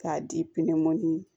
K'a di pinɛminin